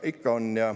Ikka on.